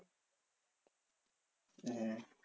হ্যাঁ